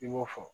I b'o fɔ